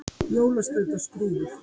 Jólaskraut og skrúfur